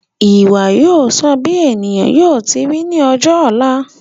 Ìwà yóò sọ bí ènìyàn yóò ti ri ní ọjọ ọ̀la